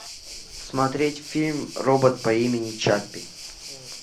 смотреть фильм робот по имени чаппи